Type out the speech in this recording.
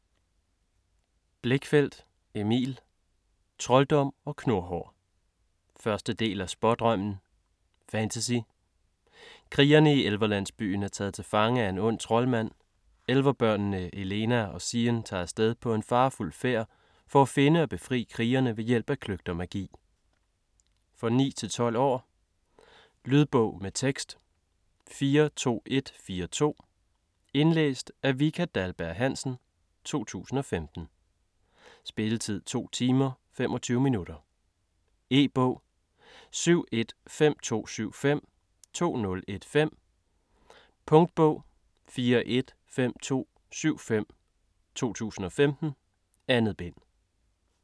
Blichfeldt, Emil: Trolddom & knurhår 1. del af Spådrømmen. Fantasy. Krigerne i elverlandsbyen er taget til fange af en ond troldmand. Elverbørnene Elena og Sien tager af sted på en farefuld færd for at finde og befri krigerne ved hjælp af kløgt og magi. For 9-12 år. Lydbog med tekst 42142 Indlæst af Vika Dahlberg-Hansen, 2015. Spilletid: 2 timer, 25 minutter. E-bog 715275 2015. Punktbog 415275 2015. 2 bind.